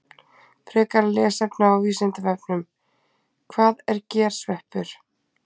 Frekara lesefni á Vísindavefnum: Hvað er gersveppur?